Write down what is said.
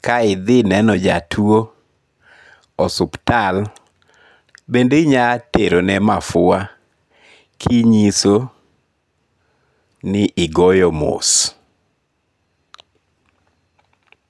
ka ithineno jatuo osuptal bende inya terone mafua kinyiso ni igoyo mos